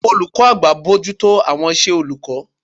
olukọ àgbá bojuto awọn isé olukọ